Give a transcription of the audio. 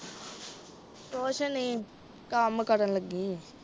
ਕੁਛ ਨੀ, ਕੰਮ ਕਰਨ ਲੱਗੀ ਆਂ।